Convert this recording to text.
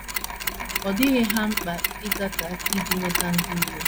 Ọ dịghị ha mkpa ịgate aka iji nweta ndị iro.